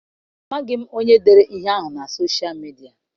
Amaghị m onye dere ihe ahụ na sosha Midia.